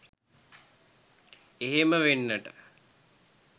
එහෙම වෙන්නට